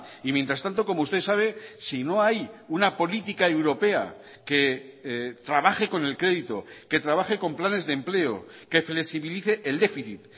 y mientras tanto como usted sabe si no hay una política europea que trabaje con el crédito que trabaje con planes de empleo que flexibilice el déficit